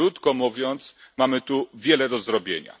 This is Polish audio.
Krótko mówiąc, mamy tu wiele do zrobienia.